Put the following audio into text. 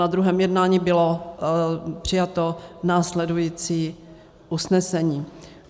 Na druhém jednání bylo přijato následující usnesení.